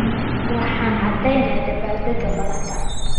Waxaan aadeynaa dabaaldega madaxda.